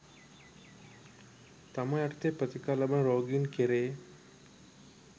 තමා යටතේ ප්‍රතිකාර ලබන රෝගීන් කෙරේ